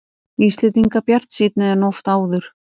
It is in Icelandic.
Íslendingar bjartsýnni en oft áður